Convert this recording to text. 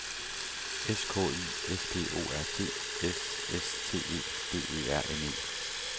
S K I S P O R T S S T E D E R N E